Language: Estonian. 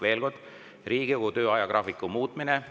Veel kord: Riigikogu töö ajagraafiku muutmine.